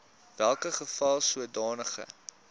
welke geval sodanige